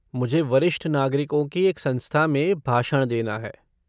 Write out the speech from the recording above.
मुझे वरिष्ठ नागरिकों की एक संस्था में भाषण देना है।